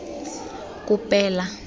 kopela